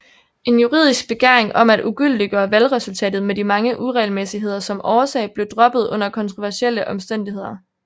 En juridisk begæring om at ugyldiggøre valgresultatet med de mange uregelmæssigheder som årsag blev droppet under kontroversielle omstændigheder